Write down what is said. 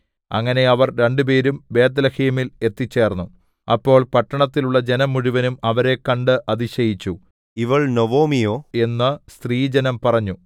അങ്ങനെ അവർ രണ്ടുപേരും ബേത്ത്ലേഹേമിൽ എത്തിച്ചേർന്നു അപ്പോൾ പട്ടണത്തിലുള്ള ജനം മുഴുവനും അവരെ കണ്ടു അതിശയിച്ചു ഇവൾ നൊവൊമിയോ എന്നു സ്ത്രീജനം പറഞ്ഞു